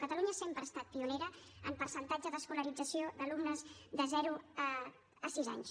catalunya sempre ha estat pionera en percentatge d’escolarització d’alumnes de zero a sis anys